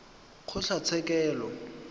kgotlatshekelo